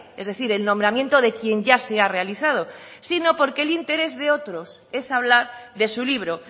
es decir el nombramiento de quien ya se ha realizado sino porque el interés de otros es hablar de su libro